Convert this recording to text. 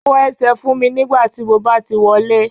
Fọ ẹsẹ̀ fún mi tí mo bá ti wọlé